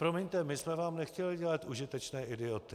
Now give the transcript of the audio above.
Promiňte, my jsme vám nechtěli dělat užitečné idioty.